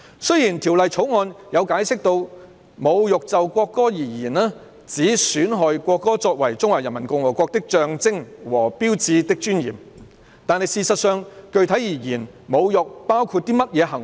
雖然《條例草案》有解釋，"侮辱就國歌而言，指損害國歌作為中華人民共和國的象徵和標誌的尊嚴"，但具體而言，侮辱包括甚麼行為？